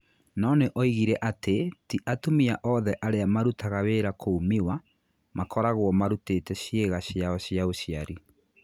No nĩ oigire atĩ ti atumia othe arĩa marutaga wĩra kũu Miwa makoragũo marutate ciĩga ciao cia ũciari.